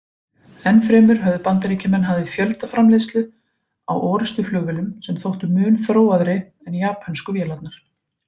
Enn fremur höfðu Bandaríkjamenn hafið fjöldaframleiðslu á orrustuflugvélum sem þóttu mun þróaðri en japönsku vélarnar.